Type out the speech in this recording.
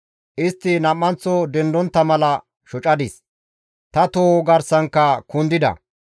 Istti nam7anththo dendontta mala shocadis; ta toho garsankka kundida.